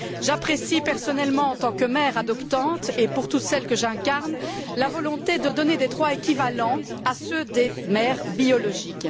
J'apprécie personnellement, en tant que mère adoptante et pour toutes celles que j'incarne, la volonté de donner des droits équivalents à ceux des mères biologiques.